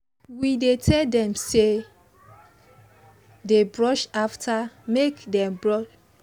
we dey tell them make dey brush after snack make their teeth no go spoil